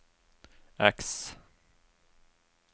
X